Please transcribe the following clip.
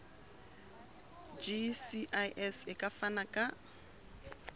gcis e ka fana ka